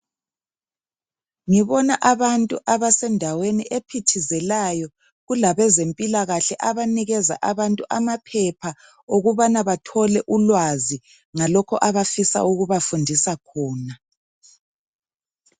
Ngibona abantu abase ndaweni ephithizelayo kulabezempilakahle banikeza abantu amaphepha okubana bathole ulwazi ngalokho abafisa ukubafundisa khona.